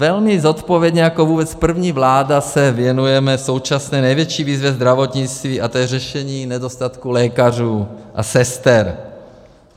Velmi zodpovědně jako vůbec první vláda se věnujeme současné největší výzvě zdravotnictví a tou je řešení nedostatku lékařů a sester.